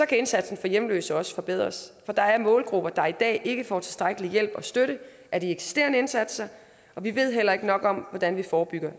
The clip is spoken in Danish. kan indsatsen for hjemløse også forbedres for der er målgrupper der i dag ikke får tilstrækkelig hjælp og støtte af de eksisterende indsatser og vi ved heller ikke nok om hvordan vi forebygger